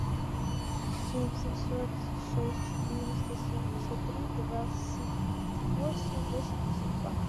семь семьсот шесть четыреста семьдесят три двадцать восемь восемьдесят два